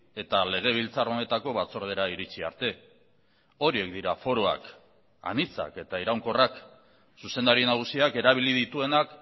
eta legebiltzar honetako batzordera iritsi arte horiek dira foroak anitzak eta iraunkorrak zuzendari nagusiak erabili dituenak